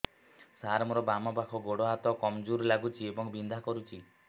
ସାର ମୋର ବାମ ପାଖ ଗୋଡ ହାତ କମଜୁର ଲାଗୁଛି ଏବଂ ବିନ୍ଧା କରୁଛି